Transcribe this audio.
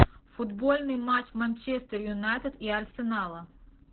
футбольный матч манчестер юнайтед и арсенала